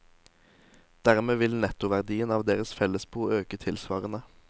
Dermed vil nettoverdien av deres fellesbo øke tilsvarende.